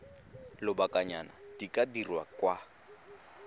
lobakanyana di ka dirwa kwa